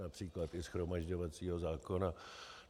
Například i shromažďovacího zákona.